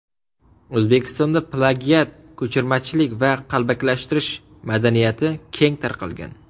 O‘zbekistonda plagiat, ko‘chirmachilik va qalbakilashtirish madaniyati keng tarqalgan.